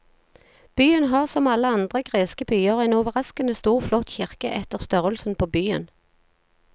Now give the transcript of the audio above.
Byen har som alle andre greske byer en overraskende stor flott kirke etter størrelsen på byen.